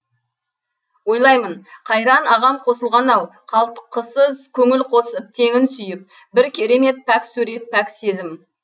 ойлаймын қайран ағам қосылған ау қалтқысыз көңіл қосып теңін сүйіп бір керемет пәк сурет пәк сезім